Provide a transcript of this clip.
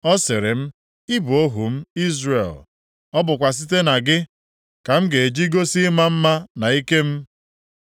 Ọ sịrị m, “Ị bụ ohu m, Izrel. Ọ bụkwa site na gị ka m ga-eji gosi ịma mma + 49:3 Maọbụ, ịdị ukwuu na ike m.”